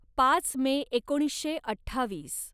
पाच मे एकोणीसशे अठ्ठावीस